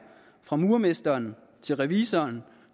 fra murermesteren til revisoren